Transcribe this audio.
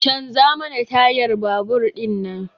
Canza mana tayar babur din nan!